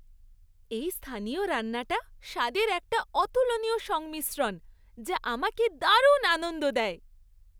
এই স্থানীয় রান্নাটা স্বাদের একটা অতুলনীয় সংমিশ্রণ যা আমাকে দারুণ আনন্দ দেয়।